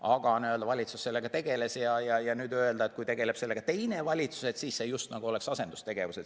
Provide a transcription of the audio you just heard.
Aga valitsus sellega tegeles ja nüüd öelda, et kui tegeleb sellega teine valitsus, siis see just nagu on asendustegevus.